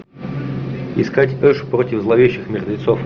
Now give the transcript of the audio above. искать эш против зловещих мертвецов